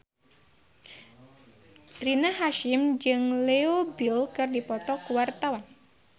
Rina Hasyim jeung Leo Bill keur dipoto ku wartawan